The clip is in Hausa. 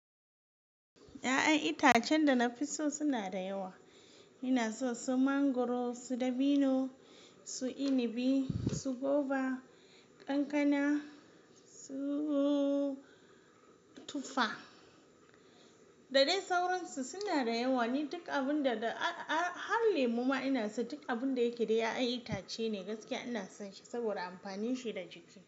Ya'yan itacen da na fi so suna da yawa. Ina so su mangwaro, su dabino, su inabi, su goba, kankana, su tufa da dai sauransu. Suna da yawa. Ni duk abun da har lemon ma ina so. Duk abun da yake da ya'yan itace ne gaskiya ina son shi saboda amfanin shi da jiki.